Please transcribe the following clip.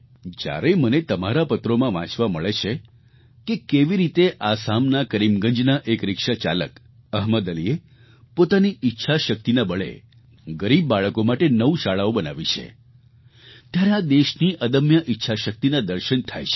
જ્યારે મને તમારા પત્રોમાં વાંચવા મળે છે કે કેવી રીતે આસામના કરીમગંજના એક રિક્ષા ચાલક અહમદ અલીએ પોતાની ઈચ્છાશક્તિના બળે ગરીબ બાળકો માટે નવ શાળાઓ બનાવી છે ત્યારે આ દેશની અદમ્ય ઈચ્છાશક્તિના દર્શન થાય છે